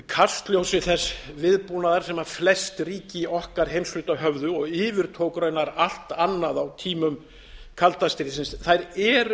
kastljósi þess viðbúnaðar sem flest ríki í okkar heimshluta höfðu og yfirtók raunar allt annað á tímum kalda stríðsins þær eru